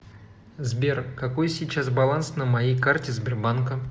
сбер какой сейчас баланс на моей карте сбербанка